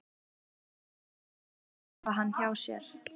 Þormóður vildu fegin hafa hann hjá sér.